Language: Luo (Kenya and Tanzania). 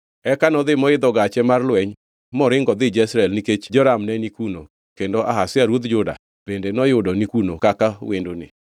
Eka nodhi moidho gache mar lweny moringo odhi Jezreel nikech Joram ne ni kuno kendo Ahazia ruodh Juda bende noyudo ni kuno kaka wendone.